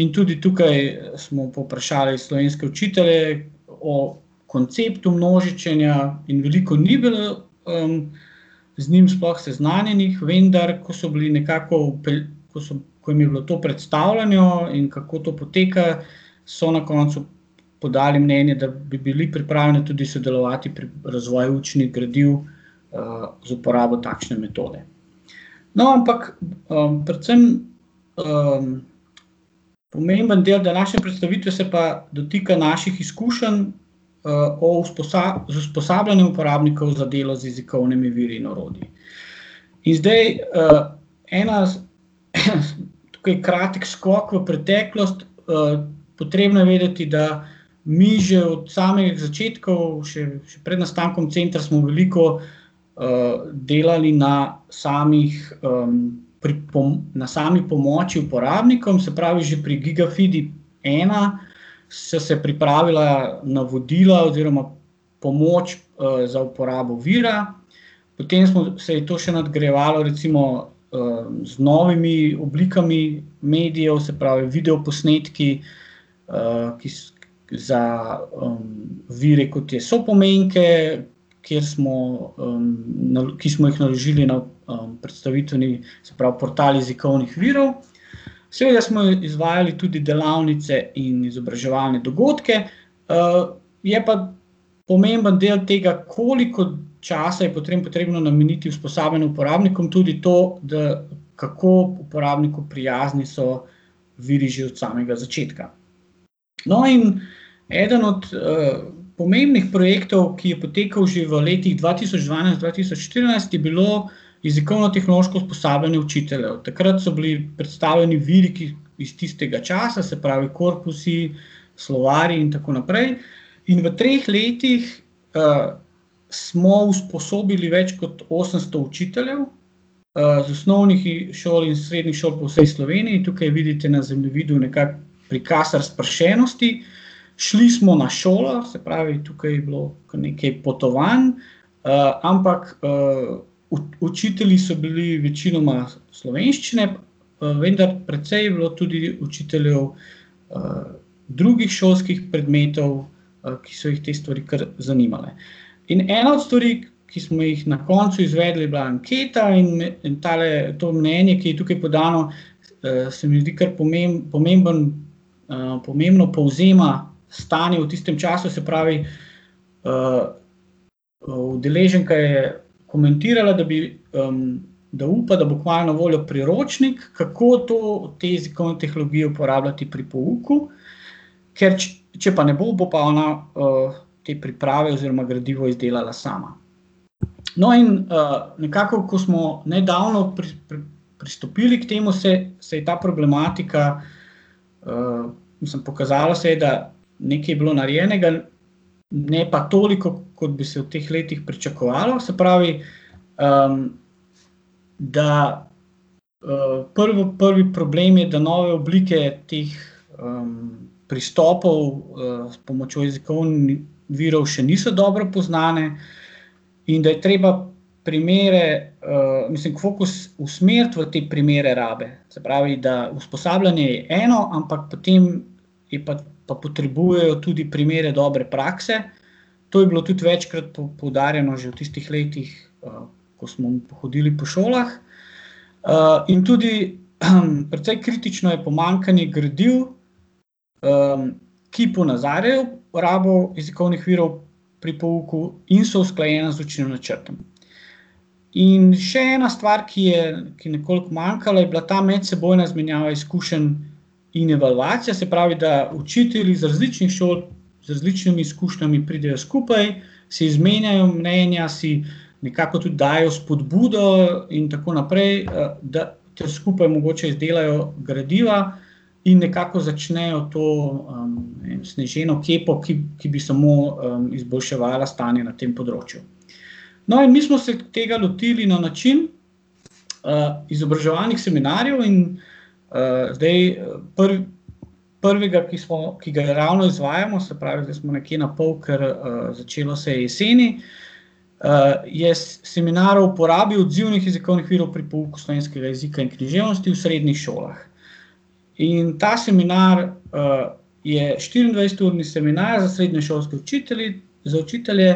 In tudi tukaj smo povprašali slovenske učitelje o konceptu množičenja in veliko ni bilo, z njim sploh seznanjenih, vendar ko so bili nekako ko so, ko jim je bilo to predstavljeno, in kako to poteka, so na koncu podali mnenje, da bi bili pripravljeni tudi sodelovati pri razvoju učnih gradiv, z uporabo takšne metode. No, ampak, predvsem, pomemben del današnje predstavitve se pa dotika naših izkušenj, o z usposabljanjem uporabnikov za delo z jezikovnimi viri in orodji. In zdaj, ena tukaj kratek skok v preteklost, potrebno je vedeti, da mi že od samih začetkov, še, še pred nastankom Centra smo veliko, delali na samih, na sami pomoči uporabnikom, se pravi že pri Gigafidi ena so se pripravila navodila oziroma pomoč, za uporabo vira. Potem smo, se je to še nadgrajevalo, recimo, z novimi oblikami medijev, se pravi videoposnetki, ki za, vire, kot je sopomenke, kjer smo, ki smo jih naložili na, predstavitveni, se pravi portal jezikovnih virov. Seveda smo izvajali tudi delavnice in izobraževalne dogodke, je pa pomemben dela tega, koliko časa je potem potrebno nameniti usposabljanju uporabnikov tudi to, da kako uporabniku prijazni so viri že od samega začetka. No, in eden od, pomembnih projektov, ki je potekal že v letih dva tisoč dvanajst-dva tisoč štirinajst, je bilo jezikovnotehnološko usposabljanje učiteljev. Takrat so bili predstavljeni viri, ki, iz tistega časa, se pravi korpusi, slovarji in tako naprej, in v treh letih, smo usposobili več kot osemsto učiteljev iz osnovnih šol, srednjih šol po vsej Sloveniji, tukaj vidite na zemljevidu nekako prikaz razpršenosti. Šli smo na šole, se pravi tukaj je bilo kar nekaj potovanj, ampak, učitelji so bili večinoma slovenščine, vendar precej je bilo tudi učiteljev, drugih šolskih predmetov, ki so jih te stvari kar zanimale. In ena od stvari, ki smo jih na koncu izvedli, je bila anketa, in tale, to mnenje, ki je tukaj podano, se mi zdi kar pomembno, pomembno povzema stanje v tistem času, se pravi, udeleženka je komentirala, da bi, da upa, da bo kmalu na voljo priročnik, kako to, te jezikovne tehnologije uporabljati pri pouku, ker če pa ne bo, bo pa ona, te priprave oziroma gradivo izdelala sama. No, in, nekako, ko smo nedavno pristopili k temu, se je, se je ta problematika, mislim, pokazalo se je, da nekaj je bilo narejenega, ne pa toliko, kot bi se v teh letih pričakovalo, se pravi, da, prvo, prvi problem je, da nove oblike teh, pristopov, s pomočjo jezikovnih virov še niso dobro poznane in da je treba primere, mislim fokus usmeriti v te primere rabe, se pravi, da usposabljanje je eno, ampak potem je pa, pa potrebujejo tudi primere dobre prakse. To je bilo tudi večkrat poudarjeno že v tistih letih, ko smo hodili po šolah. in tudi precej kritično je pomanjkanje gradiv, ki ponazarjajo rabo jezikovnih virov pri pouku in so usklajena z učnim načrtom. In še ena stvar, ki je, ki je nekoliko manjkalo, ta medsebojna izmenjava izkušenj in evalvacija, se pravi, da učitelji z različnih šol z različnimi izkušnjami pridejo skupaj, si izmenjajo mnenja, si nekako tudi dajejo spodbudo, in tako naprej, da skupaj mogoče izdelajo gradiva in nekako začnejo to, sneženo kepo, ki, ki bi samo, izboljševala stanje na tem področju. No, in mi smo se tega lotili na način, izobraževalnih seminarjev in, zdaj prvega, ki smo, ki ga ravno izvajamo, se pravi, da smo nekje napol, ker, začelo se je jeseni, je seminar o uporabi odzivnih jezikovnih virov pri pouku slovenskega jezika in književnosti v srednjih šolah. In ta seminar, je štiriindvajseturni seminar s srednješolskimi učitelji, za učitelje.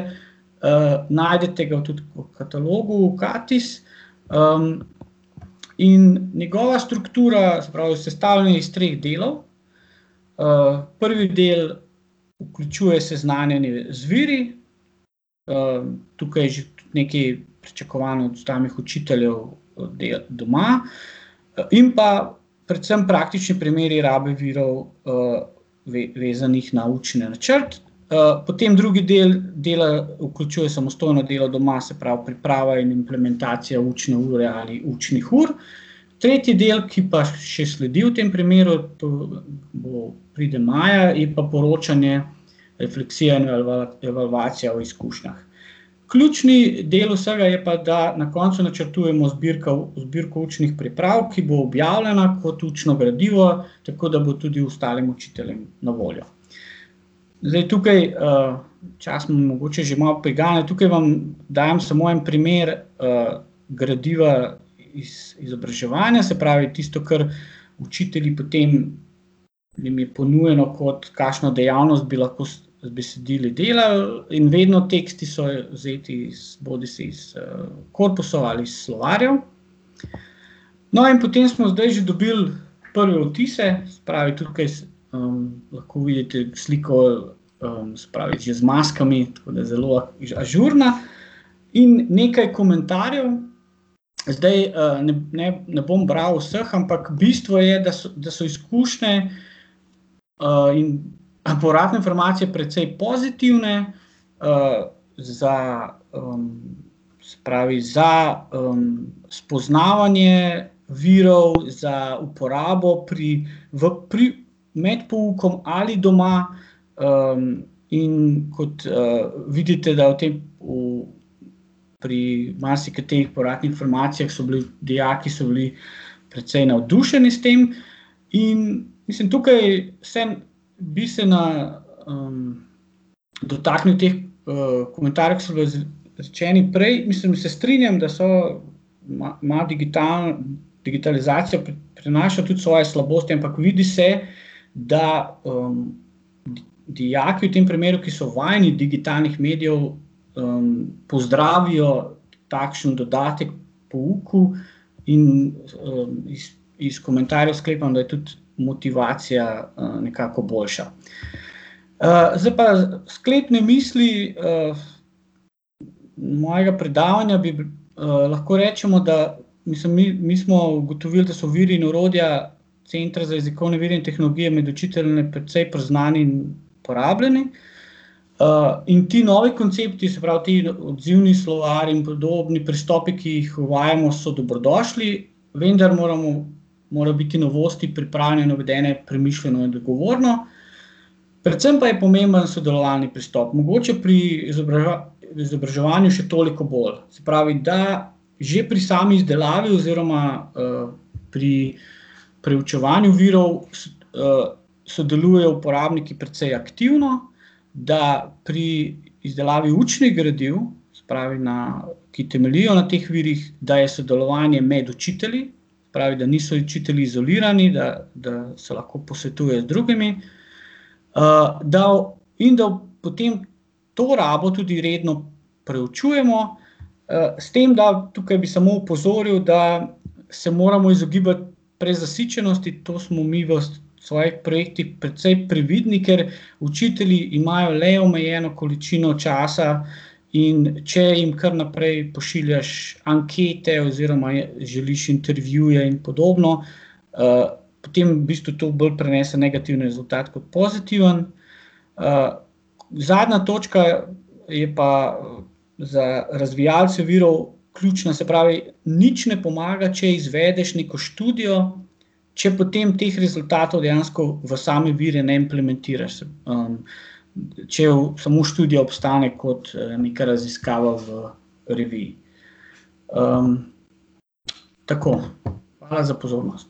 najdete ga tudi v katalogu Katis, in njegova struktura, se pravi, sestavljen je iz treh delov, prvi del vključuje seznanjanje z viri, tukaj je že tudi nekaj pričakovanj od stalnih učiteljev, dela doma, in pa predvsem praktični primeri rabe virov, vezanih na učni načrt. potem drugi del dela vključuje samostojno delo doma, se pravi priprava in implementacija učne ure ali učnih ur, tretji del, ki pa še sledi v tem primeru, to bo, pride maja, je pa poročanje, refleksija in evalvacija o izkušnjah. Ključni del vsega je pa, da na koncu načrtujemo zbirka zbirko učnih priprav, ki bo objavljena kot učno gradivo, tako da bo tudi ostalim učiteljem na voljo. Zdaj, tukaj, čas me mogoče že malo priganja, tukaj vam dajem samo en primer, gradiva iz izobraževanja, se pravi tisto, kar učitelji pri tem, jim je ponujeno kot kakšno dejavnost bi lahko s besedili delali, in vedno teksti so zajeti iz bodisi iz, korpusov ali iz slovarjev. No, in potem smo zdaj že dobili prve vtise, se pravi, tukaj lahko vidite sliko, se pravi, ki je z maskami, tako da zelo ažurna, in nekaj komentarjev. Zdaj, ne bom bral vseh, ampak bistvo je, da da so izkušnje, in, povratne informacije precej pozitivne, za, se pravi, za, spoznavanje virov za uporabo pri, v, pri, med poukom ali doma, in kot, vidite, da v tem pri marsikateri povratni informaciji so bile, dijaki so bili precej navdušeni s tem, in ... Mislim tukaj se bistvena, dotakne teh, komentarjev, ke so bile rečeni prej, mislim, se strinjam, da so na, na digitalno, digitalizacija prinaša tudi svoje slabosti, ampak vidi se, da, dijaki v tem primeru, ki so vajeni digitalnih medijev, pozdravijo takšen dodatek k pouku in, iz, iz komentarjev sklepam, da je tudi motivacija, nekako boljša. zdaj pa sklepne misli, mojega predavanja bi lahko rečemo, da mislim mi, mi smo ugotovili, da so viri in orodja Centra za jezikovne vire in tehnologije med učitelji med precej poznani in uporabljeni, in ti novi koncepti, se pravi ti odzivni slovarji in podobni pristopi, ki jih uvajamo, so dobrodošli, vendar moramo, morajo biti novosti pripravljene, navedene premišljeno in odgovorno. Predvsem pa je pomembno sodelovalni pristop, mogoče pri izobraževanju še toliko bolj. Se pravi, da že pri sami izdelavi oziroma, pri preučevanju virov sodelujejo uporabniki precej aktivno, da pri izdelavi učnih gradiv, se pravi na, ki temeljijo na teh virih, da je sodelovanje med učitelji. Pravi, da niso učitelji izolirani, da, da se lahko posvetujejo z drugimi, da in da potem to rabo tudi redno preučujemo, s tem da, tukaj bi samo opozoril, da se moramo izogibati prezasičenosti, to smo mi v svojih projektih precej previdni, ker učitelji imajo le omejeno količino časa, in če jim kar naprej pošiljaš ankete oziroma želiš intervjuje in podobno, potem v bistvu to bolj prinese negativen rezultat kot pozitiven. zadnja točka je pa za razvijalce virov ključna, se pravi, nič ne pomaga, če izvedeš neko študijo, če potem teh rezultatov dejansko v same vire ne implementiraš, če samo študija obstane kot neka raziskava v reviji. tako, hvala za pozornost.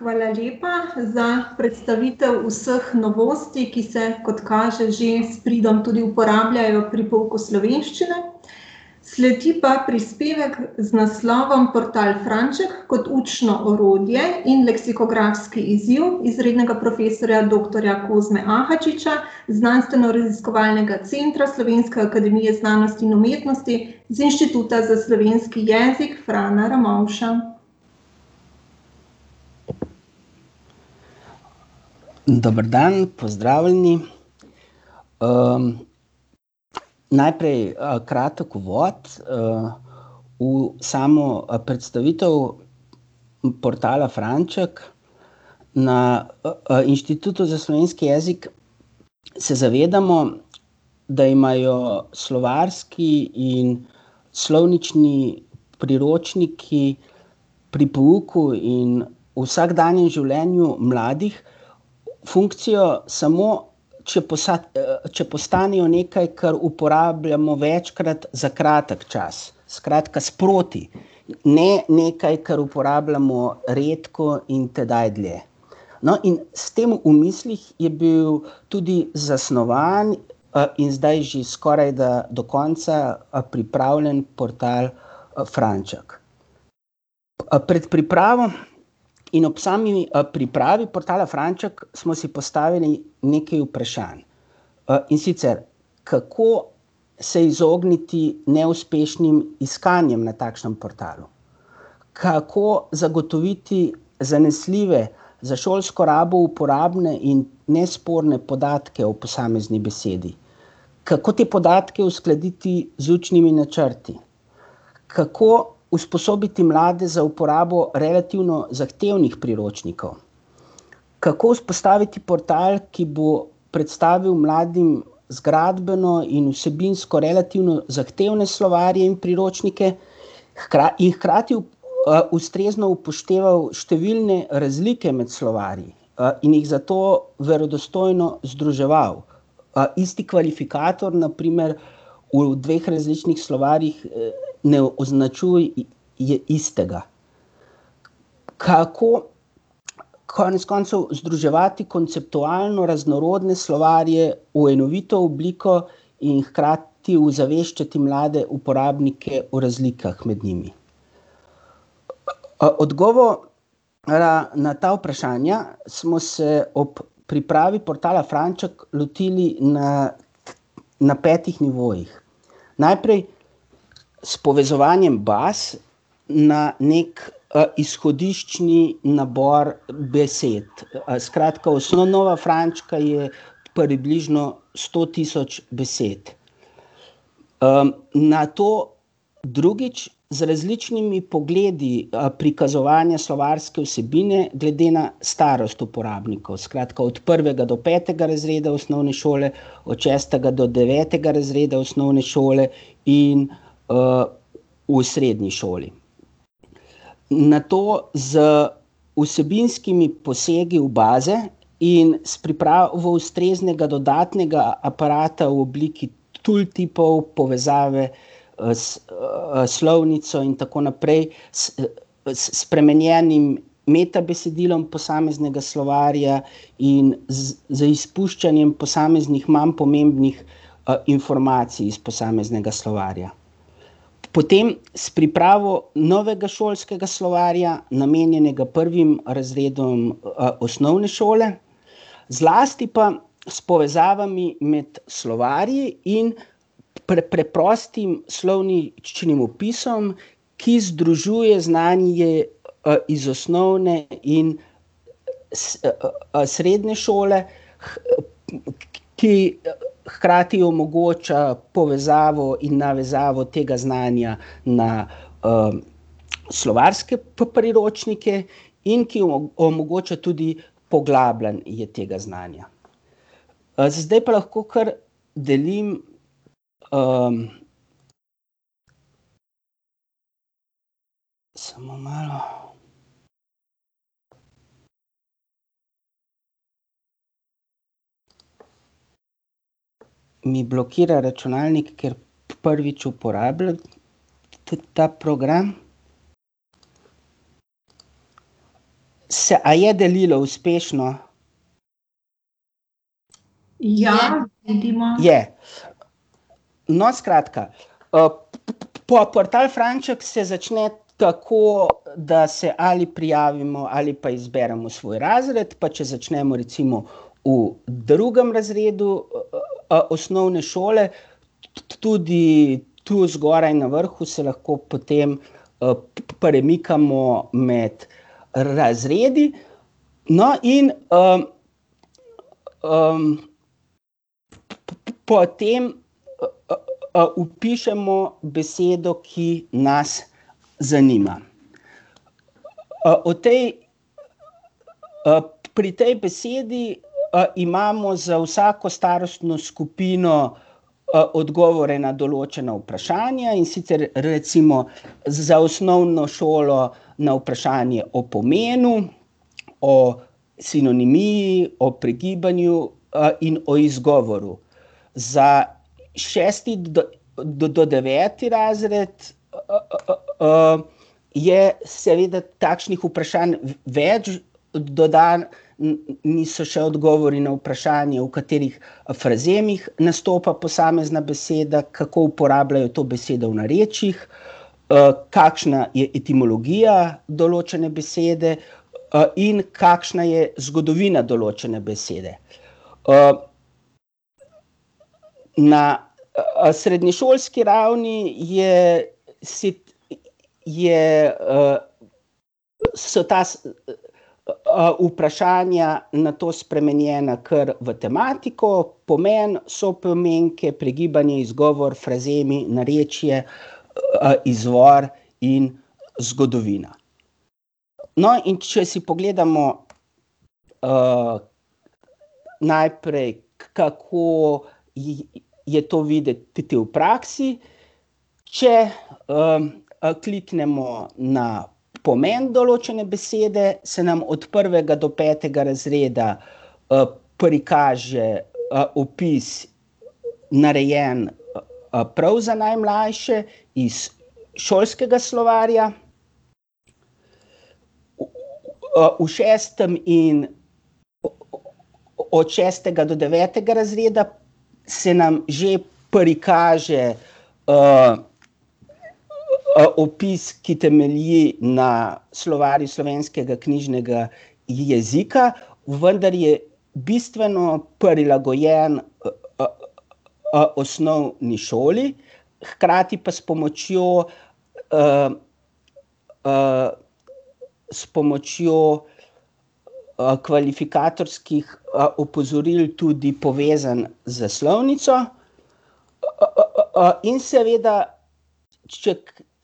Hvala lepa za predstavitev vseh novosti, ki se, kot kaže, že s pridom tudi uporabljajo pri pouku slovenščine. Sledi pa prispevek z naslovom Portal Franček kot učno orodje in leksikografski izziv izrednega profesorja doktorja Kozme Ahačiča z Znanstvenoraziskovalnega centra Slovenske akademije znanosti in umetnosti z Inštituta za slovenski jezik Frana Ramovša. Dober dan, pozdravljeni. najprej, kratek uvod, v samo, predstavitev portala Franček. Na, Inštitutu za slovenski jezik se zavedamo, da imajo slovarski in slovnični priročniki pri pouku in vsakdanjem življenju mladih funkcijo samo, če če postanejo nekaj, kar uporabljamo večkrat za kratek čas. Skratka, sproti. Ne nekaj, kar uporabljamo redko in tedaj dlje. No, in s tem v mislih je bil tudi zasnovan, in zdaj že skorajda do konca, pripravljen portal, Franček. pred pripravo in ob sami, pripravi portala Franček smo si postavili nekaj vprašanj. in sicer: kako se izogniti neuspešnim iskanjem na takšnem portalu? Kako zagotoviti zanesljive, za šolsko rabo uporabne in nesporne podatke ob posamezni besedi? Kako te podatke uskladiti z učnimi načrti? Kako usposobiti mlade za uporabo relativno zahtevnih priročnikov? Kako vzpostaviti portal, ki bo predstavil mladim zgradbeno in vsebinsko relativno zahtevne slovarje in priročnike, hkrati in hkrati, ustrezno upošteval številne razlike med slovarji, in jih zato verodostojno združeval? isti kvalifikator, na primer, v dveh različnih slovarjih, ne označuje istega. Kako konec koncev združevati konceptualno raznorodne slovarje v enovito obliko in hkrati ozaveščati mlade uporabnike o razlikah med njimi? na, na ta vprašanja smo se ob pripravi portala Franček lotili na na petih nivojih. Najprej s povezovanjem baz na neki, izhodiščni nabor besed, skratka osnova Frančka je približno sto tisoč besed. nato drugič, z različnimi pogledi, prikazovanja slovarske vsebine glede na starost uporabnikov, skratka od prvega do petega razreda osnovne šole, od šestega do devetega razreda osnovne šole in, v srednji šoli. Nato z vsebinskimi posegi v baze in s pripravo ustreznega dodatnega aparata v obliki povezave, s, slovnico in tako naprej, s spremenjenim metabesedilom posameznega slovarja in z, z izpuščanjem posameznih manj pomembnih, informacij iz posameznega slovarja. Potem s pripravo novega šolskega slovarja, namenjenega prvim razredom, osnovne šole, zlasti pa s povezavami med slovarji in preprostim slovničnim opisom, ki združuje znanje, iz osnovne in, srednje šole, ki, hkrati omogoča povezavo in navezavo tega znanja na, slovarske priročnike in ki omogoča tudi poglabljanje tega znanja. zdaj pa lahko kar delim, ... Samo malo. Mi blokira računalnik, ker prvič uporabljam ta program. Se ... A je delilo uspešno? Ja. Vidimo. Je. No, skratka, portal Franček se začne tako, da se ali prijavimo ali pa izberemo svoj razred, pa če začnemo recimo v drugem razredu, osnovne šole. Tudi tu zgoraj na vrhu se lahko potem, premikamo med razredu. No, in, potem, vpišemo besedo, ki nas zanima. o tej, pri tej besedi, imamo za vsako starostno skupino, odgovore na določena vprašanja, in sicer recimo za osnovno šolo na vprašanje o pomenu, o sinonimiji, o pregibanju, in o izgovoru. Za šesti do, do deveti razred, je seveda takšnih vprašanj več, dodani so še odgovori na vprašanje, v katerih frazemih nastopa posamezna beseda, kako uporabljajo to besedo v narečjih, kakšna je etimologija določene besede, in kakšna je zgodovina določene besede. ... Na, srednješolski ravni je si ... Je, ... So ta, vprašanja nato spremenjena kar v tematiko: Pomeni, Sopomenke, Pregibanje, Izgovor, Frazemi, Narečje, Izvor in Zgodovina. no, in če si pogledamo, najprej, kako je to videti v praksi. Če, kliknemo na pomeni določene besede, se nam od prvega do petega razreda, prikaže, opis, narejen, prav za najmlajše, iz šolskega slovarja. v šestem in od šestega do devetega razreda se nam že prikaže, opis, ki temelji na Slovarju slovenskega knjižnega jezika, vendar je bistveno prilagojen, osnovni šoli, hkrati pa s pomočjo, s pomočjo, kvalifikatorskih, opozoril tudi povezan z slovnico. in seveda če